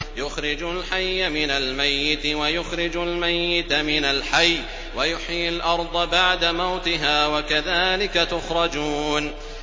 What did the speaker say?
يُخْرِجُ الْحَيَّ مِنَ الْمَيِّتِ وَيُخْرِجُ الْمَيِّتَ مِنَ الْحَيِّ وَيُحْيِي الْأَرْضَ بَعْدَ مَوْتِهَا ۚ وَكَذَٰلِكَ تُخْرَجُونَ